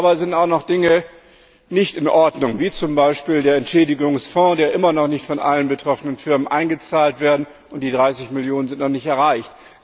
Aber es sind auch noch Dinge nicht in Ordnung, zum Beispiel der Entschädigungsfonds, in den immer noch nicht von allen betroffenen Firmen eingezahlt wurde die 30 Millionen sind noch nicht erreicht.